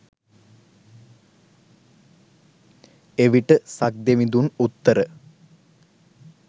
එවිට සක්දෙවිඳුන් උත්තර